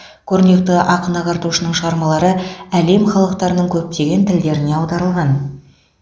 көрнекті ақын ағартушының шығармалары әлем халықтарының көптеген тілдеріне аударылған